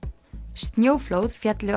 snjóflóð féllu á